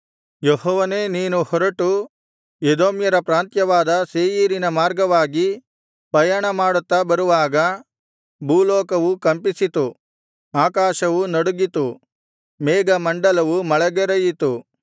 ಯೆಹೋವನೇ ನೀನು ಹೊರಟು ಎದೋಮ್ಯರ ಪ್ರಾಂತ್ಯವಾದ ಸೇಯೀರಿನ ಮಾರ್ಗವಾಗಿ ಪಯಣಮಾಡುತ್ತಾ ಬರುವಾಗ ಭೂಲೋಕವು ಕಂಪಿಸಿತು ಆಕಾಶವು ನಡುಗಿತು ಮೇಘಮಂಡಲವು ಮಳೆಗರೆಯಿತು